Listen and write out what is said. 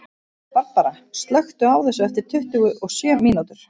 Barbara, slökktu á þessu eftir tuttugu og sjö mínútur.